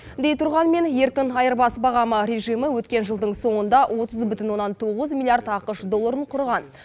дей тұрғанмен еркін айырбас бағамы режимі өткен жылдың соңында отыз бүтін оннан тоғыз миллиард ақш долларын құрған